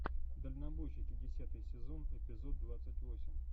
дальнобойщики десятый сезон эпизод двадцать восемь